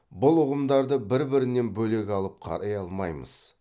бұл ұғымдарды бір бірінен бөлек алып қарай алмаймыз